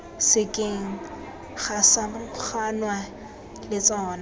sekeng ga samaganwa le tsona